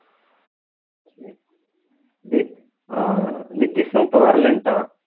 இது அஹ் நித்தீஷும் இப்போ வரலைன்னுட்டான்